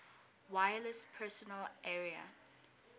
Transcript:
wireless personal area